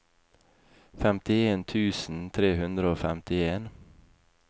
femtien tusen tre hundre og femtien